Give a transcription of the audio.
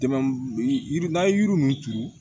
Dɛmɛ yiri n'an ye yiri ninnu turu